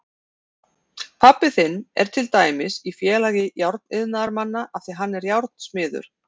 Pabbi þinn er til dæmis í Félagi járniðnaðarmanna af því að hann er járnsmiður.